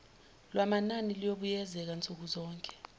lwamanani luyobuyekezwa nsukuzonke